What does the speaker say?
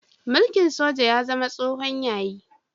Mulkin soja ya zama tsohon yayi.